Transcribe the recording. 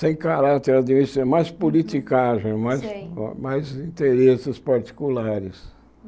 sem caráter administrativo, mais politicagem, Sei Mais mais interesses particulares.